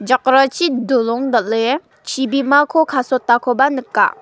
jakrachi dolong dal·e chibimako kasotakoba nika.